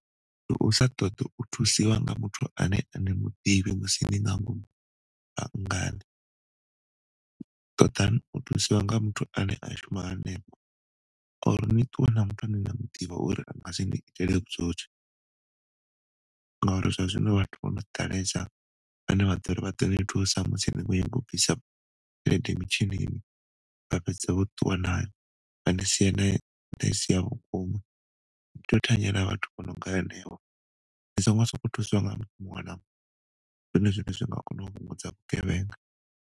Ndi u sa ṱoḓa u thusiwa nga muthu a ne ani muḓivhi musi ni nga ngomu banngani. Ṱoḓani u thusiwa nga muthu ane a shuma hanefho or ni ṱuwe na muthu ane na muḓivha uri anga si ni itele vhutswotswi ngauri zwa zwino vhathu vho no ḓalesa vhane vha ḓori vha ḓo ni thusa musi ni khou nyanga tshelede mitshinini vha fhedza vho ṱuwa na yo tea u thanyela vhathu vhono nga hanevho songo sokou thuswa nga muṅwe na muṅwe zwi nga kona u vhungudza vhugevhenga.